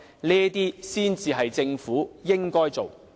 這才是政府應該做的。